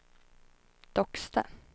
Docksta